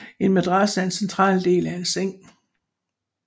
En madras er den centrale del af en seng